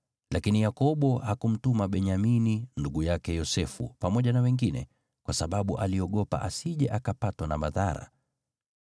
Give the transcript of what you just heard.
Lakini Yakobo hakumtuma Benyamini, ndugu yake Yosefu, pamoja na wengine, kwa sababu aliogopa asije akapatwa na madhara.